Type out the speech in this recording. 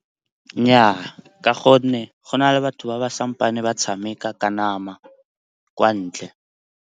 Nnyaa, ka gonne go na le batho ba ba sampeng ba tshameka ka nama kwa ntle.